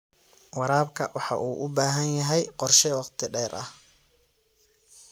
Waraabka waxa uu u baahan yahay qorshe wakhti dheer ah.